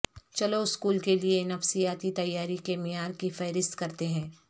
چلو اسکول کے لئے نفسیاتی تیاری کے معیار کی فہرست کرتے ہیں